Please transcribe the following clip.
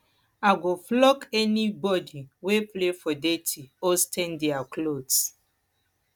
i go flog anybody wey play for dirty or stain their cloths